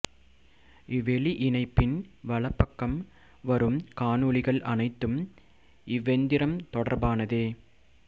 இவ்வெளி இணைப்பின் வலப்பக்கம் வரும் காணொளிகள் அனைத்தும் இவ்வெந்திரம் தொடர்பானதே